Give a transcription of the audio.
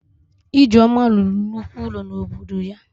Ijeoma rụrụ nnukwu ụlọ n'obodo ya